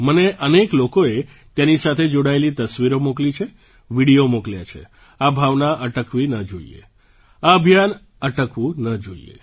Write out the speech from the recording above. મને અનેક લોકોએ તેની સાથે જોડાયેલી તસવીરો મોકલી છે વિડિયો મોકલ્યા છે આ ભાવના અટકવી ન જોઈએ આ અભિયાન અટકવું ન જોઈએ